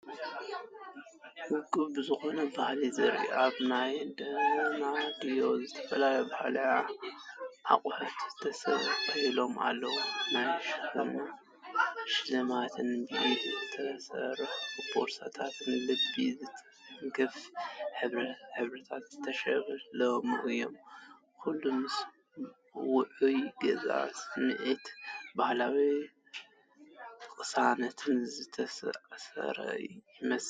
ውቁብ ዝኾነ ባህሊ ዘርእዩ ኣብ መናድቕ ዝተፈላለዩ ባህላዊ ኣቑሑት ተሰቒሎም ኣለዉ። ናይ ሽክና ሽልማትን ብኢድ ዝተሰርሑ ቦርሳታትን ልቢ ዝትንክፉ ሕብርታት ዝተሸለሙ እዮም፤ ኩሉ ምስ ውዑይ ገዛን ስምዒት ባህላዊ ቅሳነትን ዝተኣሳሰር ይመስል።